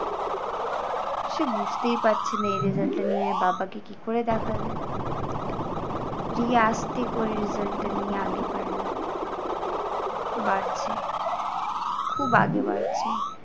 সে বুঝতেই পারছে না এই result টা নিয়ে বাবা কে কী করে দেখাবে? রিয়া আস্তে করে result টা নিয়ে আগে বাড়লো। বাড়ছে খুব আগে বাড়ছে।